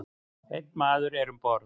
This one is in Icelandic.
Einn maður er um borð.